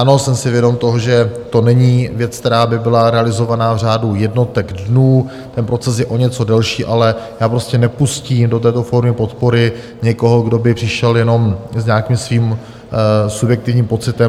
Ano, jsem si vědom toho, že to není věc, která by byla realizovaná v řádu jednotek dnů, ten proces je o něco delší, ale já prostě nepustím do této formy podpory někoho, kdo by přišel jenom s nějakým svým subjektivním pocitem.